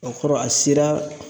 O kɔrɔ a sera